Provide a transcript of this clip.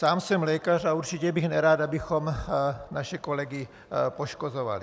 Sám jsem lékař a určitě bych nerad, abychom naše kolegy poškozovali.